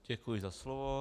Děkuji za slovo.